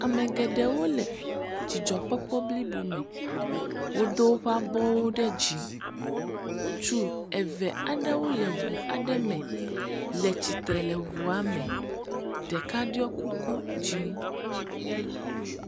Ame geɖewo le dzidzɔkpɔkpɔ blibome. Wodo woƒe abɔwo ɖe dzi. Ŋutsu eve aɖewo le ŋu aɖe me, le tsitre le ŋua me. Ɖeka ɖiɔ kuku dzɛ̃.